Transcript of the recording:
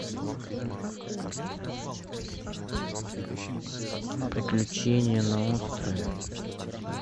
приключения на острове